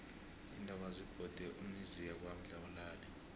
iintaba zibhode imizi yangakwadlawulale